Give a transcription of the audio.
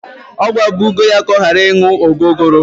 Ọ gwabugo ya ka ọ gharaị ịṅụ ogogoro!